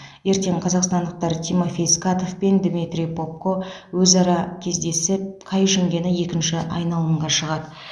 ертең қазақстандықтар тимофей скатов пен дмитрий попко өзара кездесіп қай жеңгені екінші айналымға шығады